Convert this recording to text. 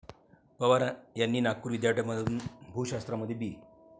पवार यांनी नागपूर विद्यापीठामधून भूशास्त्रामध्ये बी.